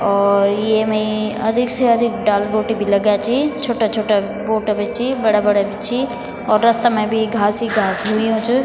और येमई अधिक से अधिक डाल बूटी भी लग्या छी छुट्टा छुट्टा बूटा भी छी बड़ा बड़ा भी छी और रस्ता मा भी घास ही घास हुंयु च।